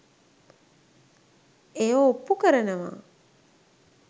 එය ඔප්පු කරනවා.